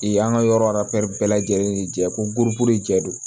Ee an ka yɔrɔ bɛɛ lajɛlen ni jɛ ko jɛ don